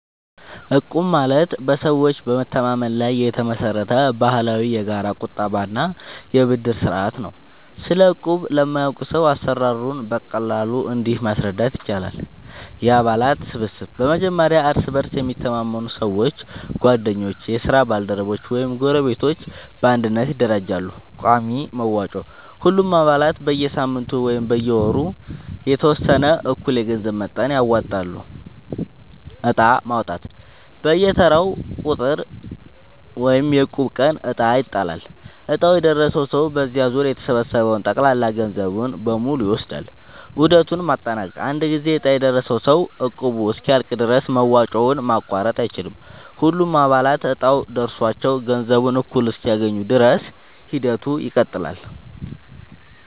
እቁብ ማለት በሰዎች መተማመን ላይ የተመሰረተ ባህላዊ የጋራ ቁጠባ እና የብድር ስርዓት ነው። ስለ እቁብ ለማያውቅ ሰው አሰራሩን በቀላሉ እንዲህ ማስረዳት ይቻላል፦ የአባላት ስብስብ፦ በመጀመሪያ እርስ በእርስ የሚተማመኑ ሰዎች (ጓደኞች፣ የስራ ባልደረቦች ወይም ጎረቤቶች) በአንድነት ይደራጃሉ። ቋሚ መዋጮ፦ ሁሉም አባላት በየሳምንቱ ወይም በየወሩ የተወሰነ እኩል የገንዘብ መጠን ያወጣሉ። ዕጣ ማውጣት፦ በየተራው ቁጥር (የእቁብ ቀን) ዕጣ ይጣላል፤ ዕጣው የደረሰው ሰው በዚያ ዙር የተሰበሰበውን ጠቅላላ ገንዘብ በሙሉ ይወስዳል። ዑደቱን ማጠናቀቅ፦ አንድ ጊዜ ዕጣ የደረሰው ሰው እቁቡ እስኪያልቅ ድረስ መዋጮውን ማቋረጥ አይችልም። ሁሉም አባላት እጣው ደርሷቸው ገንዘቡን እኩል እስኪያገኙ ድረስ ሂደቱ ይቀጥላል።